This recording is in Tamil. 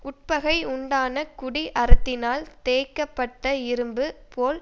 உட்பகை உண்டான குடி அரத்தினால் தேய்க்கப் பட்ட இரும்பு போல்